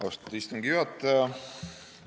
Austatud istungi juhataja!